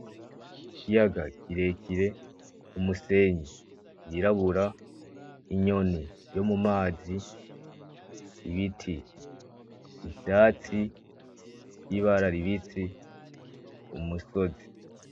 Ikiyaga kirekire, umusenyi yirabura, inyoni yo mu mazi, ibiti, ivyatsi y'ibara ribisi, umusozi.